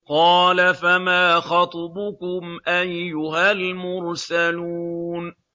قَالَ فَمَا خَطْبُكُمْ أَيُّهَا الْمُرْسَلُونَ